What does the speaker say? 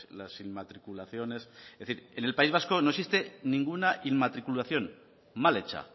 las inmatriculaciones es decir en el país vasco no existe ninguna inmatriculación mal hecha